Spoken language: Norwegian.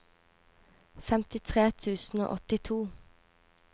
femtitre tusen og åttito